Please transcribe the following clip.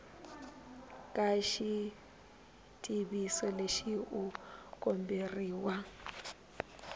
ka xitiviso lexi u komberiwa